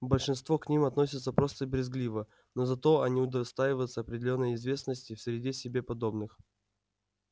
большинство к ним относится просто брезгливо но зато они удостаиваются определённой известности в среде себе подобных